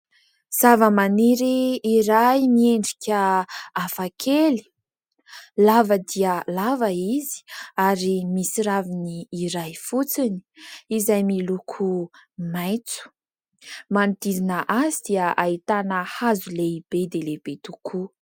Zava-maniry iray miendrika hafakely lava dia lava izy ary misy raviny iray fotsiny izay miloko maintso. Manodidina azy dia ahitana hazo lehibe dia lehibe tokoa.